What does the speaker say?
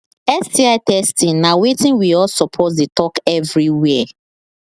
sti testing na watin we all suppose they talk everywhere